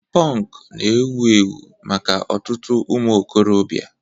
Punk na-ewu ewu maka ọtụtụ ụmụ okorobịa